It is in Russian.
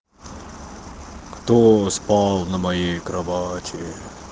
кто спал на моей кровати